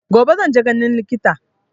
Gobe zan je ganin likita.